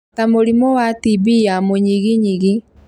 ta mũrimũ wa TB ya mũnyiginyigi